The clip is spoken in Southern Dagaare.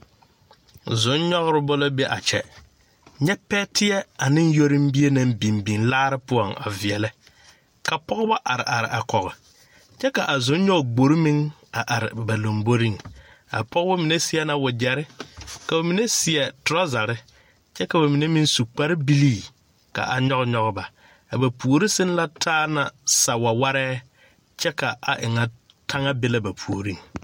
Zoŋnyɔgreba la be a kyɛ nyɛ pɛteɛ ane yɔrombie naŋ biŋ biŋ laare poɔŋ a veɛlɛ ka pɔgeba a are are a kɔge kyɛ ka a zonnyɔgegbori meŋ a are kɔge a pɔgeba mine seɛ na wagyɛre ka mine seɛ trɔzari kyɛ ka ba mine meŋ su kparbilii ka a nyɔg nyɔg ba a ba puori seŋ na taa la sawawarɛɛ kyɛ ka a e ŋa taŋa be la a ba puoriŋ.